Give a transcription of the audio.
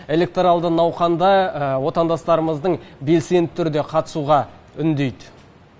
электоралды науқанда отандастарымыздың белсенді түрде қатысуға үндейді